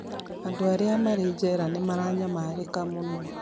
Andũ arĩa marĩ njera nĩ maranyamarĩka mũno